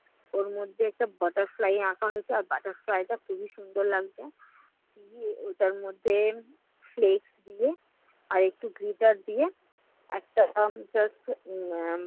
ওর মধ্যে একটা butterfly আঁকা হয়েছে আর butterfly টা খুবই সুন্দর লাগছে। দিয়ে ওটার মধ্যে flex দিয়ে আর একটু gritter দিয়ে একটা উম